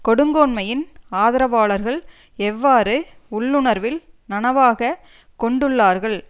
கொடுங்கோன்மையின் ஆதரவாளர்கள் எவ்வாறு உள்ளுணர்வில் நனவாக கொண்டுள்ளார்கள்